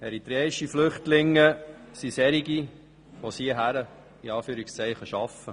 Eritreische Flüchtlinge sind solche, welche es in Anführungszeichen «bis hierher schaffen».